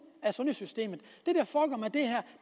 af sundhedssystemet